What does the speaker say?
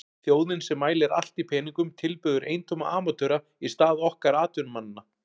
Þjóðin sem mælir allt í peningum tilbiður eintóma amatöra í stað okkar atvinnumannanna.